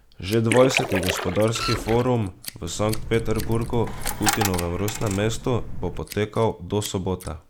Že dvajseti gospodarski forum v Sankt Peterburgu, Putinovem rojstnem mestu, bo potekal do sobote.